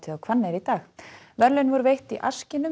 á Hvanneyri í dag verðlaun voru veitt í